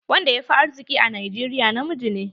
Wanda yafi arziƙi a Najeriya na miji ne.